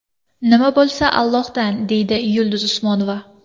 Nima bo‘lsa, Allohdan”, deydi Yulduz Usmonova.